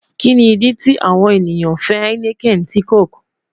Kini idi ti awọn eniyan fẹ heineken si coke?